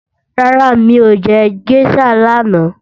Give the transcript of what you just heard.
Rárá mi ò jẹ géṣà lánàá